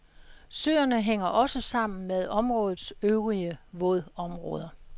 Søerne hænger også sammen med områdets øvrige vådområder.